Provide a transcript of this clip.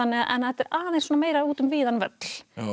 þetta er aðeins svona meira út um víðan völl